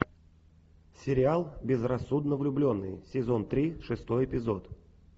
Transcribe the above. сериал безрассудно влюбленные сезон три шестой эпизод